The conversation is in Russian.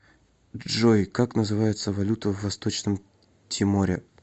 джой как называется валюта в восточном тиморе